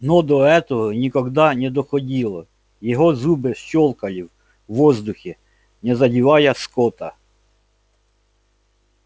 но до этого никогда но доходило его зубы щёлкали в воздухе не задевая скотта